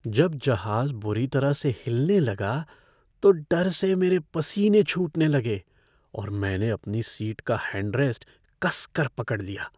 जब जहाज बुरी तरह से हिलने लगा तो डर से मेरे पसीने छूटने लगे और मैंने अपनी सीट का हैंड रेस्ट कस कर पकड़ लिया।